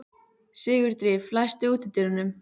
Sigurdríf, læstu útidyrunum.